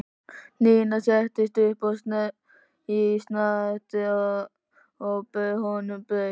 Nína settist upp í snatri og bauð honum brauð.